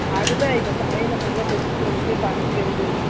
அதுதான் இது சமையலை முடிச்சிட்டு வந்துட்டு ,பருப்பு கொஞ்சம் வெந்துடுச்சி.